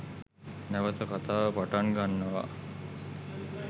නැවත කතාව පටන් ගන්නවා